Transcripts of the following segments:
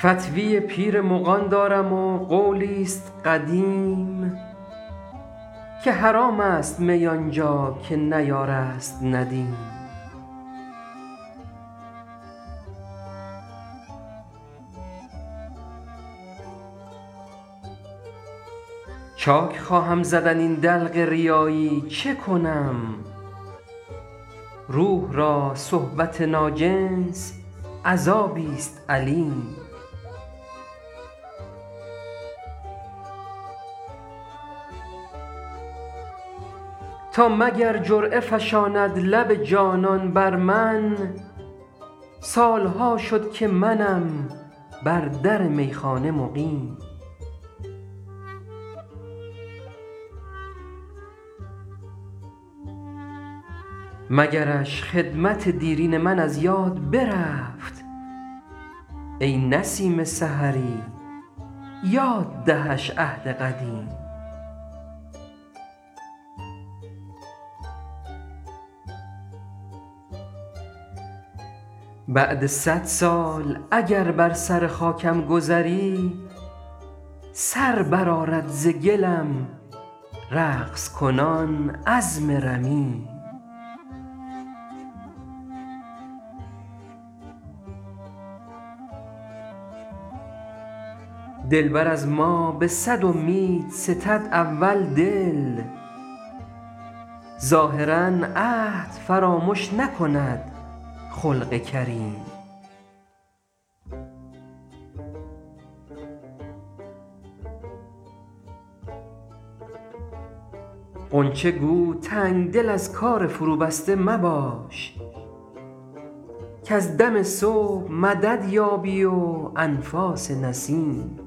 فتوی پیر مغان دارم و قولی ست قدیم که حرام است می آن جا که نه یار است ندیم چاک خواهم زدن این دلق ریایی چه کنم روح را صحبت ناجنس عذابی ست الیم تا مگر جرعه فشاند لب جانان بر من سال ها شد که منم بر در میخانه مقیم مگرش خدمت دیرین من از یاد برفت ای نسیم سحری یاد دهش عهد قدیم بعد صد سال اگر بر سر خاکم گذری سر برآرد ز گلم رقص کنان عظم رمیم دلبر از ما به صد امید ستد اول دل ظاهرا عهد فرامش نکند خلق کریم غنچه گو تنگ دل از کار فروبسته مباش کز دم صبح مدد یابی و انفاس نسیم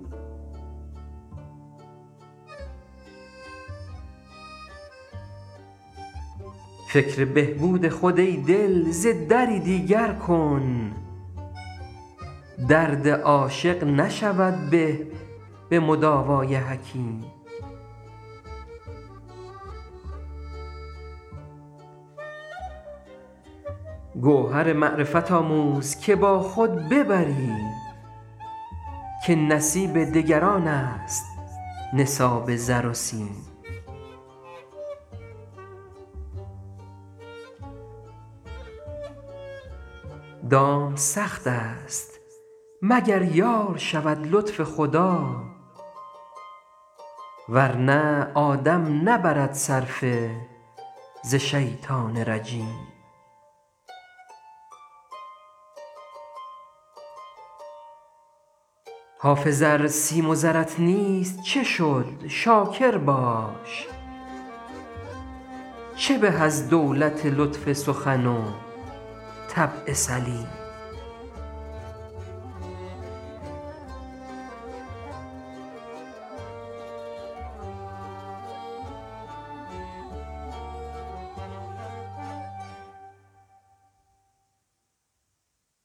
فکر بهبود خود ای دل ز دری دیگر کن درد عاشق نشود به به مداوای حکیم گوهر معرفت آموز که با خود ببری که نصیب دگران است نصاب زر و سیم دام سخت است مگر یار شود لطف خدا ور نه آدم نبرد صرفه ز شیطان رجیم حافظ ار سیم و زرت نیست چه شد شاکر باش چه به از دولت لطف سخن و طبع سلیم